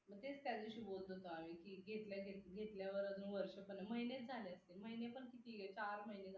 तेच त्यादिवशी बोलत होतो आम्ही की घेतल्यावर अजून वर्ष पण नाही महिने झाले असतील महिने पण किती चार महिने